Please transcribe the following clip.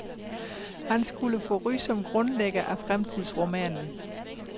Han skulle få ry som grundlægger af fremtidsromanen.